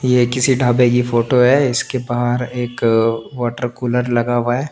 ये किसी ढाबे की फोटो है इसके बाहर एक वाटर कूलर लगा हुआ है।